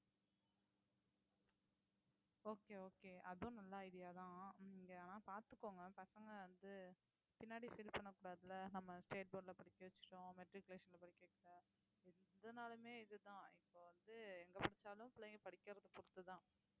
okay okay அதுவும் நல்ல idea தான் இங்க ஆனா பார்த்துக்கோங்க பசங்க வந்து பின்னாடி feel பண்ணக்கூடாதுல்ல நம்ம state board ல படிக்க வச்சுட்டோம் matriculation ல படிக்க வைக்கல எதனாலுமே இதுதான் இப்ப வந்து எங்க படிச்சாலும் பிள்ளைங்க படிக்கிறது பொறுத்துதான்